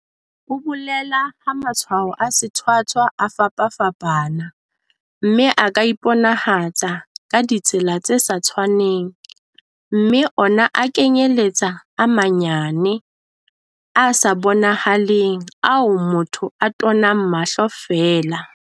O bolela ha matshwao a sethwathwa a fapafapana, mme a ka iponahatsa ka ditsela tse sa tshwaneng, mme ona a kenyeletsa a manyane, a sa bonahaleng ao motho a tonang mahlo feela.